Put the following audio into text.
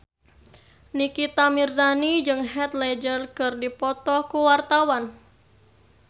Nikita Mirzani jeung Heath Ledger keur dipoto ku wartawan